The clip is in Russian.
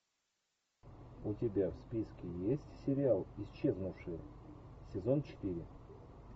у тебя в списке есть сериал исчезнувшие сезон четыре